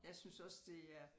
Jeg synes også det er